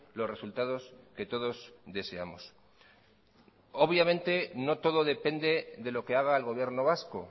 los resultados que todos deseamos obviamente no todo depende de lo que haga el gobierno vasco